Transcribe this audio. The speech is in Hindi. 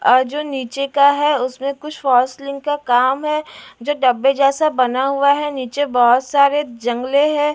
और जो नीचे का है उसमें कुछ फॉर्सलाइक काम है जो डब्बे जैसा बना हुआ है नीचे बहुत सारे जंगले हैं।